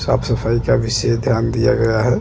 साफ सफाई का विशेष ध्यान दिया गया है।